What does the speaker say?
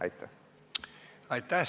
Aitäh!